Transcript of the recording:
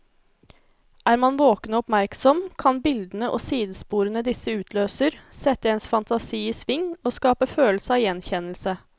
Er man våken og oppmerksom, kan bildene og sidesporene disse utløser, sette ens fantasi i sving og skape følelse av gjenkjennelse.